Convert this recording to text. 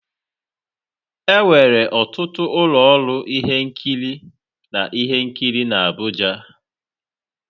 enwere ọtụtụ ụlọ ọrụ ihe nkiri na ihe nkiri na Abuja.